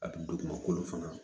A kun don kuma kolo fana